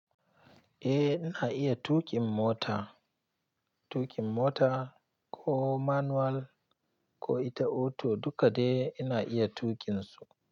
Eh, ina iya tuƙin mota. Tuƙin mota ko manual ko ita auto dukka dai ina iya tuƙin su.